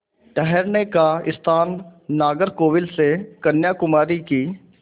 ठहरने का स्थान नागरकोविल से कन्याकुमारी की